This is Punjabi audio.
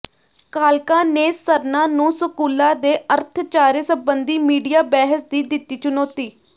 ਕਾਲਕਾ ਨੇ ਸਰਨਾ ਨੂੰ ਸਕੂਲਾਂ ਦੇ ਅਰਥਚਾਰੇ ਸਬੰਧੀ ਮੀਡੀਆ ਬਹਿਸ ਦੀ ਦਿੱਤੀ ਚੁਨੌਤੀ